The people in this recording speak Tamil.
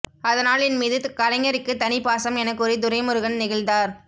அதனால் என் மீது கலைஞருக்கு தனி பாசம் எனக்கூறி துரைமுருகன் நெகிழ்ந்தார்